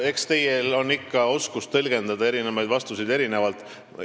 Eks teil ole oskus tõlgendada vastuseid erinevalt.